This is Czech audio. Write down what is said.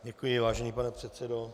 Děkuji, vážený pane předsedo.